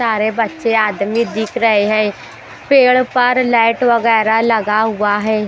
सारे बच्चे आदमी दिख रहे हैं पेड़ पर लाइट वगैरा लगा हुआ हैं।